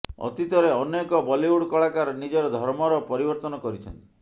ଅତୀତରେ ଅନେକ ବଲିଉଡ୍ କଳାକାର ନିଜର ଧର୍ମର ପରିବର୍ତ୍ତନ କରିଛନ୍ତି